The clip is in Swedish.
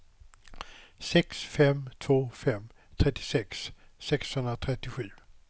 sex fem två fem trettiosex sexhundratrettiosju